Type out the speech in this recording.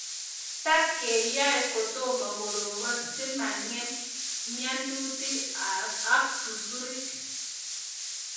Tap keyae kotomo koropon si mangem mianutik ak susurik